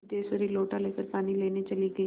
सिद्धेश्वरी लोटा लेकर पानी लेने चली गई